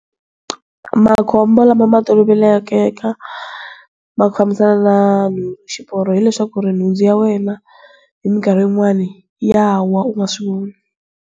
Makhombo lama ma tolovekeka ma ku fambisa na xiporo hileswaku ri nhundzu ya wena hi minkarhi yin'wana ya wa u nga swi voni.